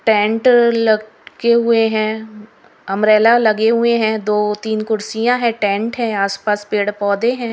Tent लटके हुए हैं अंब्रेला लगे हुए हैं दो तीन कुर्सियां है टेंट है आस पास पेड़ पौधे हैं।